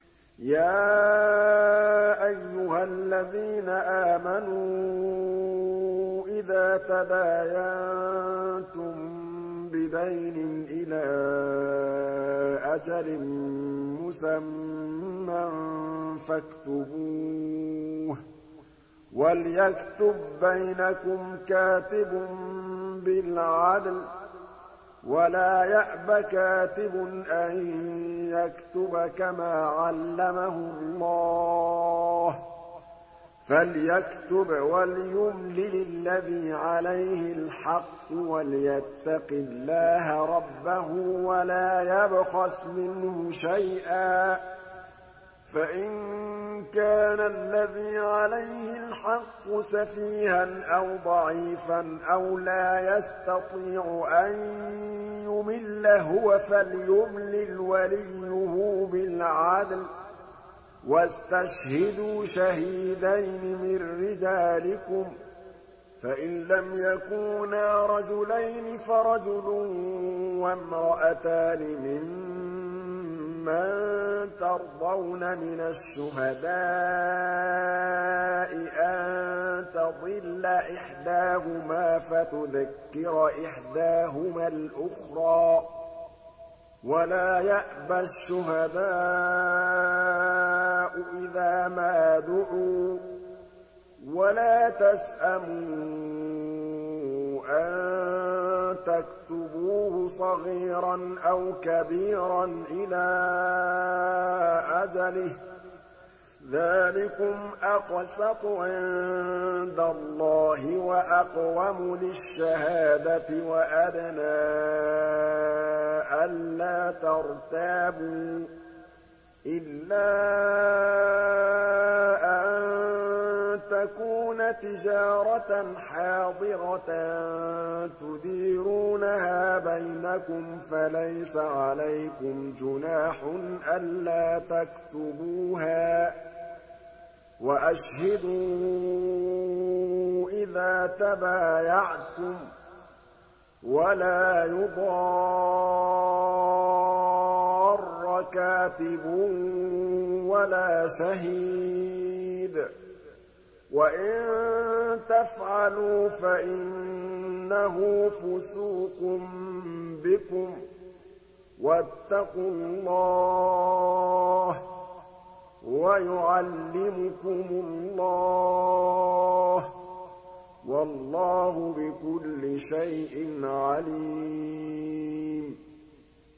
يَا أَيُّهَا الَّذِينَ آمَنُوا إِذَا تَدَايَنتُم بِدَيْنٍ إِلَىٰ أَجَلٍ مُّسَمًّى فَاكْتُبُوهُ ۚ وَلْيَكْتُب بَّيْنَكُمْ كَاتِبٌ بِالْعَدْلِ ۚ وَلَا يَأْبَ كَاتِبٌ أَن يَكْتُبَ كَمَا عَلَّمَهُ اللَّهُ ۚ فَلْيَكْتُبْ وَلْيُمْلِلِ الَّذِي عَلَيْهِ الْحَقُّ وَلْيَتَّقِ اللَّهَ رَبَّهُ وَلَا يَبْخَسْ مِنْهُ شَيْئًا ۚ فَإِن كَانَ الَّذِي عَلَيْهِ الْحَقُّ سَفِيهًا أَوْ ضَعِيفًا أَوْ لَا يَسْتَطِيعُ أَن يُمِلَّ هُوَ فَلْيُمْلِلْ وَلِيُّهُ بِالْعَدْلِ ۚ وَاسْتَشْهِدُوا شَهِيدَيْنِ مِن رِّجَالِكُمْ ۖ فَإِن لَّمْ يَكُونَا رَجُلَيْنِ فَرَجُلٌ وَامْرَأَتَانِ مِمَّن تَرْضَوْنَ مِنَ الشُّهَدَاءِ أَن تَضِلَّ إِحْدَاهُمَا فَتُذَكِّرَ إِحْدَاهُمَا الْأُخْرَىٰ ۚ وَلَا يَأْبَ الشُّهَدَاءُ إِذَا مَا دُعُوا ۚ وَلَا تَسْأَمُوا أَن تَكْتُبُوهُ صَغِيرًا أَوْ كَبِيرًا إِلَىٰ أَجَلِهِ ۚ ذَٰلِكُمْ أَقْسَطُ عِندَ اللَّهِ وَأَقْوَمُ لِلشَّهَادَةِ وَأَدْنَىٰ أَلَّا تَرْتَابُوا ۖ إِلَّا أَن تَكُونَ تِجَارَةً حَاضِرَةً تُدِيرُونَهَا بَيْنَكُمْ فَلَيْسَ عَلَيْكُمْ جُنَاحٌ أَلَّا تَكْتُبُوهَا ۗ وَأَشْهِدُوا إِذَا تَبَايَعْتُمْ ۚ وَلَا يُضَارَّ كَاتِبٌ وَلَا شَهِيدٌ ۚ وَإِن تَفْعَلُوا فَإِنَّهُ فُسُوقٌ بِكُمْ ۗ وَاتَّقُوا اللَّهَ ۖ وَيُعَلِّمُكُمُ اللَّهُ ۗ وَاللَّهُ بِكُلِّ شَيْءٍ عَلِيمٌ